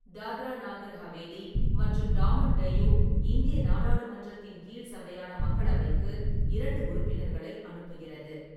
தாத்ரா நாகர் ஹவேலி மற்றும் டாமன் டையூ இந்திய நாடாளுமன்றத்தின் கீழ்சபையான மக்களவைக்கு இரண்டு உறுப்பினர்களை அனுப்புகிறது.